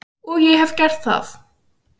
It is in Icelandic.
Og ég hef gert það.